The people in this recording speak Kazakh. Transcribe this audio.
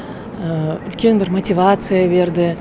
үлкен бір мотивация берді